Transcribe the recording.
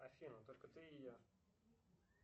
афина только ты и я